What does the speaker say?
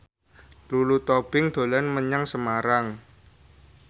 Lulu Tobing dolan menyang Semarang